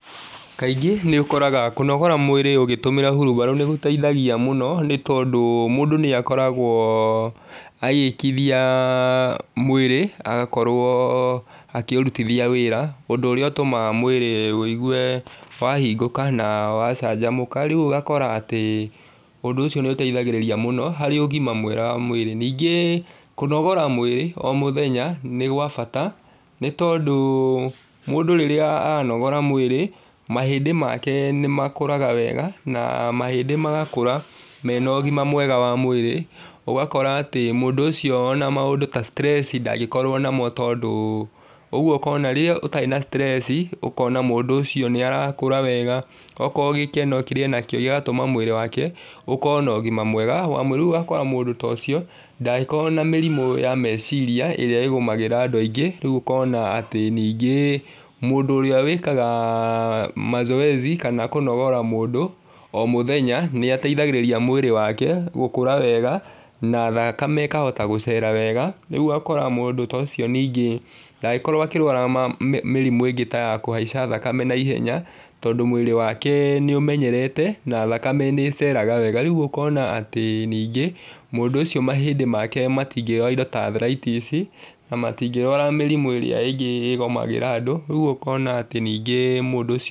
Kaingĩ nĩ ũkoraga kũnogora mwĩrĩ ũgĩtũmĩra hurubarũ nĩgũteithagia mũno nĩ tondũ mũndũ nĩakoragwo agĩkithia mwĩrĩ agakorwo akĩũrutithia wĩra ũndũ ũrĩa ũtũmaga mwĩrĩ uigwe wahingũka na wa canjamũka, rĩũ ũgakora atĩ ũndũ ũcio nĩ ũteithagĩrĩria mũno harĩ ũgima mwega wa mwĩrĩ. Ningĩ kũnogora mwĩrĩ oro mũthenya nĩ gwa bata nĩ tondũ, mũndũ rĩrĩa aranogora mwĩrĩ mahĩndĩ make nĩmakũraga wega na mahĩndĩ magakũra mena ũgima wa mwĩrĩ ũgakora atĩ mũndũ ũcio ona maũndũ ta stress ndangĩkorwo namo tondũ ũguo ũkona rĩrĩa ũtarĩ na stress ũkona mũndũ ũcio nĩ arakũra wega, okorwo gĩkeno kĩrĩa enakĩo ũgatũma mwĩrĩ wake ũkorwo na ũgima mwega wa mwĩrĩ. Rĩũ ũgakora mũndũ ta ũcio ndangĩkorwo na mĩrimũ ya meciria ĩrĩa ĩgũmagĩa andũ aingĩ rĩũ ũkona atĩ ningĩ mũndũ ũrĩa wikaga mazoezi kana kũnogora mũndũ o mũthenya nĩateithagĩrĩria mwĩrĩ wake gũkũra wega na thakame ĩkahota gũkũra wega, rĩũ ũgakora mũndũ ta ũcio ningĩ ndangĩkorwo akĩrwara ma ma mĩrimũ ĩngĩ ta ya kũhaica thakame naihenya, tondũ mwĩrĩ wake nĩ ũmenyerete na thakame nĩĩceraga wega. Rĩũ ũkona atĩ ningĩ mũndũ ũcio mahĩndĩ make matingĩrwara indo ta athritis na matingĩrwara mĩrimũ ĩria ĩngĩ ĩgũmagira andũ. Rĩu ũkona atĩ ningĩ mũndũ ũcio.